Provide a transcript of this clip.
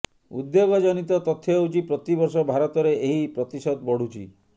ଉଦ୍ବେଗଜନିତ ତଥ୍ୟ ହେଉଛି ପ୍ରତିବର୍ଷ ଭାରତରେ ଏହି ପ୍ରତିଶତ ବଢୁଛି